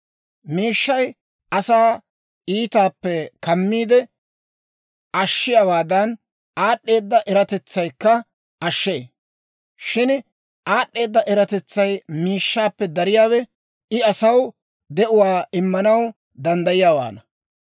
Miishshay asaa iitaappe kammiide ashshiyaawaadan, aad'd'eeda eratetsaykka ashshee. Shin, aad'd'eeda eratetsay miishshaappe dariyaawe, I asaw de'uwaa immanaw danddayiyaawaana.